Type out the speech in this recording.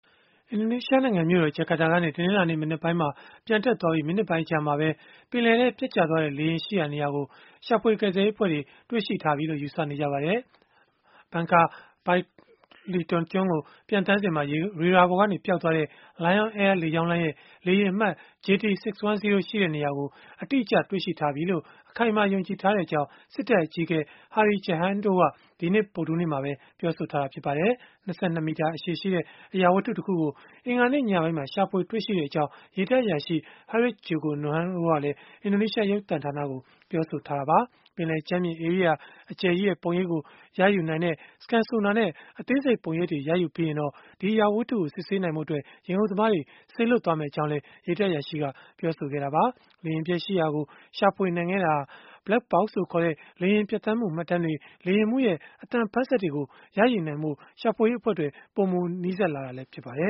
အင်ဒိုနီးရှား နိုင်ငံ မြို့တော် ဂျာကာတာကနေ တနလာၤနေ့ မနက်ပိုင်းမှာ ပျံတက်သွားပြီးနောက် မိနစ်ပိုင်း အကြာမှာ ပင်လယ်ထဲ ပျက်ကျခဲ့တဲ့ လေယာဉ် ရှိရာနေရာကို ရှာဖွေ ကယ်ဆယ်ရေး အဖွဲ့တွေ တွေ့ရှိထားပြီလို့ ယူဆရပါတယ်။ Bangka – Belitung ကျွန်းကို ပျံသန်းစဉ် ရေဒါကနေ ပျောက်သွားခဲ့တဲ့ Lion Air လေကြောင်းလိုင်းရဲ့ လေယာဉ်အမှတ် JT610 ရှိနေတဲ့ နေရာကို အတိအကျ ရထားပြီလို့ အခိုင်အမာ ယုံကြည်ထားကြောင်း စစ်တပ် အကြီးအကဲ Hadi Tjahjanto က ဒီကနေ့ ဗုဒ္ဓဟူးနေ့မှာ ပြောဆိုခဲ့ပါတယ်။ ၂၂ မီတာ ရှည်တဲ့ အရာဝတ္ထု တခုကို အင်္ဂါနေ့ ညက ရှာဖွေ တွေ့ရှိကြောင်း ရေတပ် အရာရှိ Haris Djoko Nugroho က အင်ဒိုနီးရှား ရုပ်သံကို ပြောဆိုထားပါတယ်။ပင်လယ်ကြမ်းပြင် ဧရိယာ အကျယ်ကြီးရဲ့ ပုံရိပ်ကို ရယူနိုင်တဲ့ Scan Sonar နဲ့ အသေးစိတ် ပုံရိပ်တွေ ရယူပြီးရင်တော့ ဒီအရာဝတ္ထုကို စစ်ဆေးဖို့ အတွက် ရေငုပ်သမားတွေ စေလွှတ်မယ်လို့လည်း ရေတပ် အရာရှိ Nugroho က ပြောဆိုသွားပါတယ်။ လေယာဉ်ပျက်ရှိရာကို ရှာဖွေနိုင်ခဲ့တာဟာဆိုရင် Black Box လို့ ခေါ်တဲ့ လေယာဉ် ပျံသန်းမှု မှတ်တမ်းတွေ၊ လေယာဉ်မှူးရဲ့ အသံဖမ်းစက်တို့ကို ရယူနိုင်ဖို့ ရှာဖွေရေး အဖွဲ့ အတွက် ပိုပြီး နီးစပ်လာစေတာ ဖြစ်ပါတယ